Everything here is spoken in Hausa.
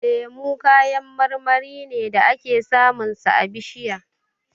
Lemu kayan marmari ne da ake samun sa a bishiya.